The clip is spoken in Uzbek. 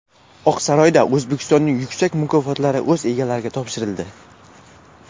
Oqsaroyda O‘zbekistonning yuksak mukofotlari o‘z egalariga topshirildi.